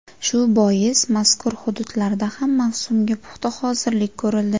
Shu bois mazkur hududlarda ham mavsumga puxta hozirlik ko‘rildi.